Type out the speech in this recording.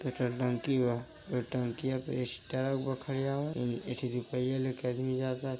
Petrol टंकी बा। ए टंकीया पहिया लेके आदमी --